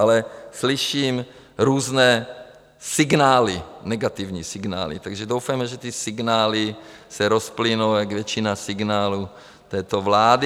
Ale slyším různé signály, negativní signály, takže doufejme, že ty signály se rozplynou jak většina signálů této vlády.